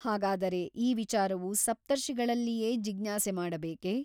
ಹಾಗಾದರೆ ಈ ವಿಚಾರವು ಸಪ್ತರ್ಷಿಗಳಲ್ಲಿಯೇ ಜಿಜ್ಞಾಸೆ ಮಾಡಬೇಕೇ ?